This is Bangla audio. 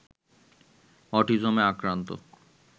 অটিজমে আক্রান্ত